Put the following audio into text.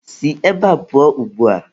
Si ebe a pụọ ugbua!.